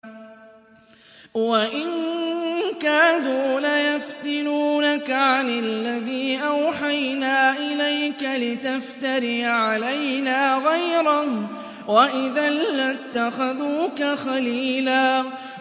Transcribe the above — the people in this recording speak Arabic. وَإِن كَادُوا لَيَفْتِنُونَكَ عَنِ الَّذِي أَوْحَيْنَا إِلَيْكَ لِتَفْتَرِيَ عَلَيْنَا غَيْرَهُ ۖ وَإِذًا لَّاتَّخَذُوكَ خَلِيلًا